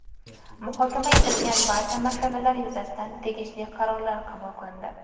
Muhokama etilgan barcha masalalar yuzasidan tegishli qarorlar qabul qilindi.